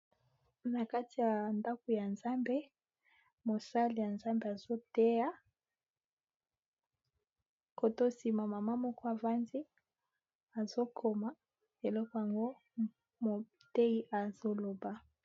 Na kati ya ndako ya Nzambe, mosali ya nzambe azoteya, kote oyosima mama moko avandi azokoma eloko yango motei azoloba.